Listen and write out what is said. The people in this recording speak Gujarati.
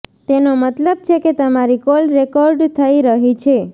તેનો મતલબ છે કે તમારી કોલ રેકોર્ડ થઈ રહી છે